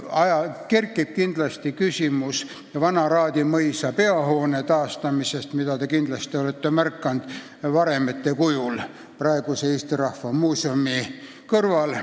Kindlasti kerkib küsimus varemetes vana Raadi mõisa peahoone taastamisest – olete seda kindlasti Eesti Rahva Muuseumi kõrval märganud.